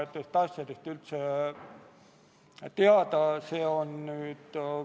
Aitäh, austatud ettekandja!